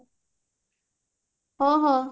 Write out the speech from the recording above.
ହଁ ହଁ